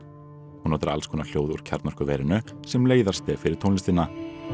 hún notar alls konar hljóð úr kjarnorkuverinu sem leiðarstef fyrir tónlistina